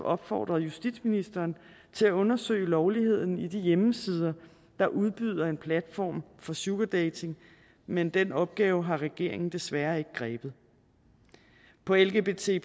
opfordret justitsministeren til at undersøge lovligheden af de hjemmesider der udbyder en platform for sugardating men den opgave har regeringen desværre ikke grebet på lgbt